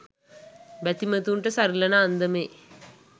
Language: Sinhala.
බැතිමතුන්ට සරිලන අන්දමේ